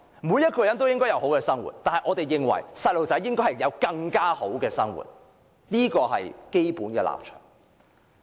每個人也應該有好的生活，但我們認為兒童應有更好的生活，這是基本立場。